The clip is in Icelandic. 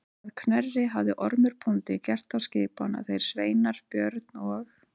Að Knerri hafði Ormur bóndi gert þá skipan að þeir sveinar Björn og